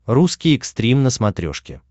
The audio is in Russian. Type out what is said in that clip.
русский экстрим на смотрешке